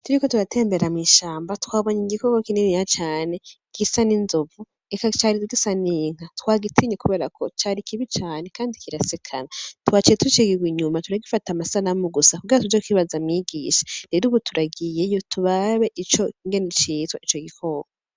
Turiko turatembera mw'ishamba twabonye igikoko kininiya cane gisa n'inzovu eka cari gisa n'inka twagitinye kubera ko cari kibi cane kandi kirasekana twaciye tucigirwa inyuma turagifata amasanamu gusa kubera tuje kukibaza mwigisha rero ubu turagiyeyo turabe ingene citwa ico gikoko.